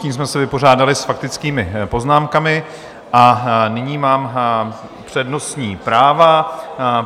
Tím jsme se vypořádali s faktickými poznámkami a nyní mám přednostní práva.